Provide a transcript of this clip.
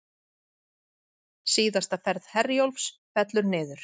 Síðasta ferð Herjólfs fellur niður